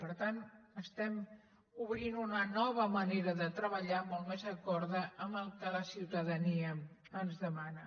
per tant estem obrint una nova manera de treballar molt més d’acord amb el que la ciutadania ens demana